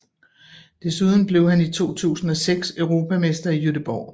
Desuden blev han i 2006 europamester i Göteborg